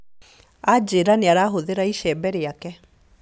Anjĩra nĩarahũthĩra icembe rĩake